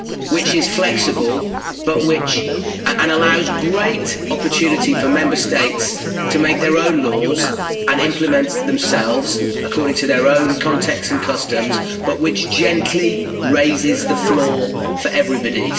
which is flexible and allows great opportunity for Member States to make their own laws and implement them themselves according to their own context and customs, but which gently raises the floor for everybody.